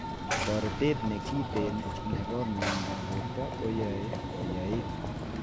Toretet nekiten nebo miendab borto koyoe koyaiit